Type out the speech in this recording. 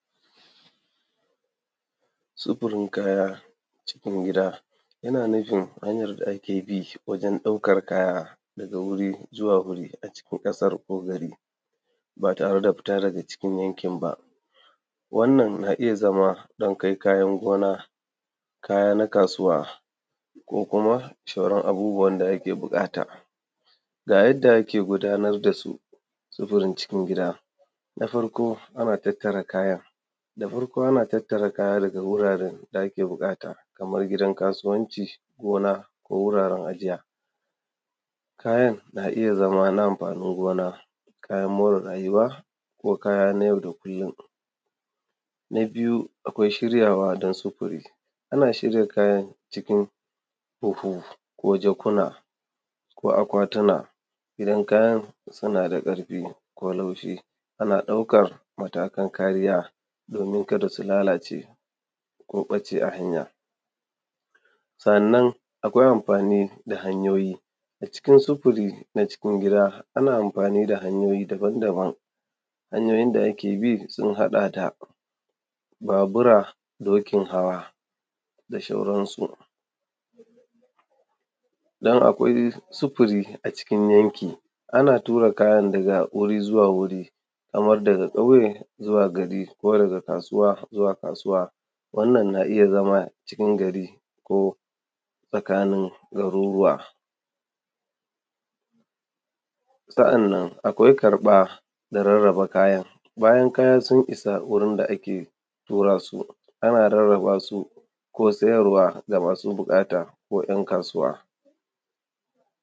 Sufurin kaya cikin gida yana nufin hanyar da ake bi wajen ɗaukar kaya daga wuri zuwa wuri a cikin ƙasar ko gari ba tare da fita daga cikin yankin ba. Wannan na iya zama dan kai kayan gona, kaya na kasuwa, ko kuma shauran abubuwan da ake buƙata. Ga yadda ake gudanar da su sufurin cikin gida, na farko ana tattara kayan da farko ana tattara kaya daga wuraren da ake buƙata kamar gidan kasuwanci, gona, ko wuraren aǳija, kayan na iya zama na amfaanin gona, kayan more rayuwa, ko kaya na yau da kullum. Na biyu akwai shiryawa da sufuri, ana shirya kayan cikin buhu ko jakuna ko akwatuna, idan kayan suna da ƙarfi ko laushi ana ɗaukar matakan kariya doomin kada su lalace, ko ɓace a hanya. Sa’annan akwai amfaani da hanyooyi na cikin sufuri na cikin gida, ana amfaani da hanyooyi daban-daban, hanyooyin da ake bi sun haɗa da: Babura, dokin hawa, da ʃauransu. Don akwai sufuri a cikin wanki ana tura kayan da wuri zuwa wuri kaman daga ƙauye zuwa gari ko daga kasuwa zuwa kasuwa. Wannan na iya zama cikin gari ko tsakaanin garuruwa, sa'annan akwai karɓa da rarraba kayan bayan kaya sun isa wurin da ake ɗora su, ana rarraba su ko sayarwa ga masu buƙata ko ‘yan kasuwa.